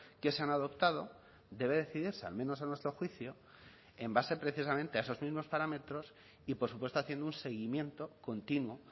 que se han adoptado debe decidirse al menos a nuestro juicio en base precisamente a esos mismos parámetros y por supuesto haciendo un seguimiento continuo